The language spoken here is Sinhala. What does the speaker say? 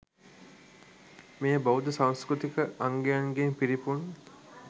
මෙය බෞද්ධ සංස්කෘතික අංගයන්ගෙන් පිරිපුන්